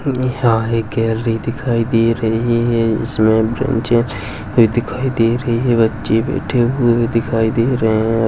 यहाँ एक गैलरी दिखाई दे रही हे इसमें ब्रेंचेज दिखाई दे रहे बच्चे बेठे हुए दिखाई दे रहे हैं।